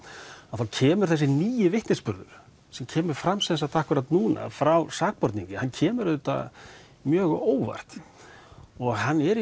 þá kemur þessi nýi vitnisburður sem kemur fram akkúrat núna frá sakborningi hann kemur auðvitað mjög á óvart og hann er í